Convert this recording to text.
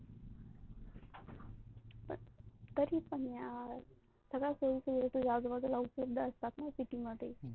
तरी पण यार, सगळ्या सोय सुविधा तुझ्या आजूबाजूला उपलब्ध असतात न city मध्ये.